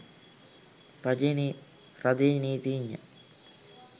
රජයේ නීතිඥ